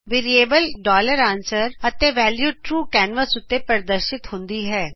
variable answer ਅਤੇ value true canvas ਉਤੇ ਪ੍ਰਦਰਸ਼ਿਤ ਹੁੰਦਾ ਹੈ